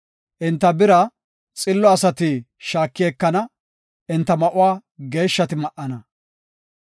enta bira xillo asati shaaki ekana; enta ma7uwa geeshshati ma7ana.